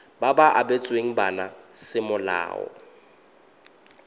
ba ba abetsweng bana semolao